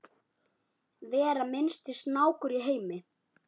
vera minnsti snákur í heimi